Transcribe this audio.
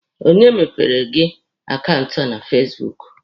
Onye mepeere gị akaụntụ na fasibuuku?